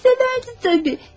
Əlbəttə, sevərdi.